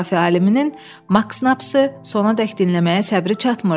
Coğrafiya aliminin Maks Nabsi sonadək dinləməyə səbri çatmırdı.